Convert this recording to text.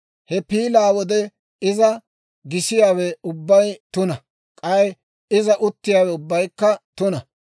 « ‹He piilaa wode iza gisiyaawe ubbay tuna; k'ay iza uttiyaawe ubbaykka tuna.